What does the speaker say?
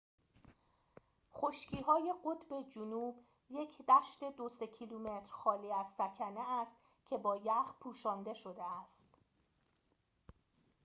خشکی‌های قطب جنوب یک دشت خالی از سکنه است که با ‎2-3 کیلومتر یخ پوشانده شده است